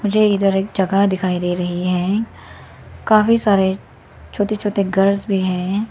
मुझे इधर एक जगह दिखाई दे रही हैं काफी सारे छोटे छोटे घर भी हैं।